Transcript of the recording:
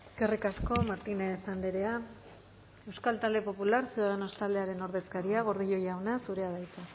eskerrik asko martínez andrea euskal talde popular ciudadanos taldearen ordezkaria gordillo jauna zurea da hitza